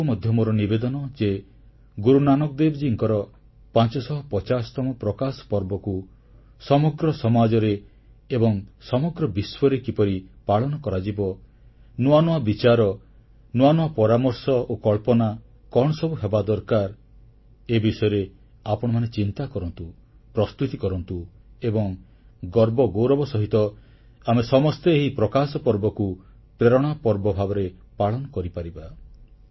ଆପଣମାନଙ୍କୁ ମଧ୍ୟ ମୋର ନିବେଦନ ଯେ ଗୁରୁନାନକ ଦେବଜୀଙ୍କର 550ତମ ପ୍ରକାଶ ପର୍ବକୁ ସମଗ୍ର ସମାଜରେ ଏବଂ ସମଗ୍ର ବିଶ୍ୱରେ କିପରି ପାଳନ କରାଯିବ ନୂଆ ନୂଆ ବିଚାର ନୂଆ ନୂଆ ପରାମର୍ଶ ଓ କଳ୍ପନା କଣ ସବୁ ହେବା ଦରକାର ଏ ବିଷୟରେ ଆପଣମାନେ ଚିନ୍ତା କରନ୍ତୁ ପ୍ରସ୍ତୁତି କରନ୍ତୁ ଏବଂ ଗର୍ବ ଗୌରବ ସହିତ ଆମେ ସମସ୍ତେ ଏହି ପ୍ରକାଶପର୍ବକୁ ପ୍ରେରଣା ପର୍ବ ଭାବରେ ପାଳନ କରିପାରିବା